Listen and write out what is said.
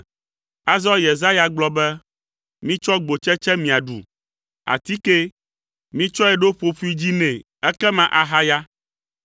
Azɔ Yesaya gblɔ be, “Mitsɔ gbotsetse miaɖu, atikee. Mitsɔe ɖo ƒoƒoea dzi nɛ ekema ahaya.”